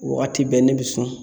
Wagati bɛɛ ne bi sun